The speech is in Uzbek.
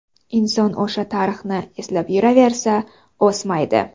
Inson o‘sha tarixni eslab yuraversa, o‘smaydi.